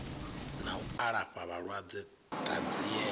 na u alafha vhalwadze ṱanziela